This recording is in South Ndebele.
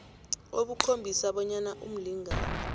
obukhombisa bonyana umlingani